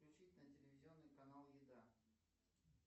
включить на телевизионный канал еда